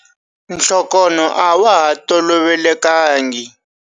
Nhlokonho a wa ha tolovelekangi.